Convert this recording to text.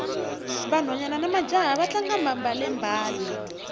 vanhwana namajaha va tlanga mbalele mbale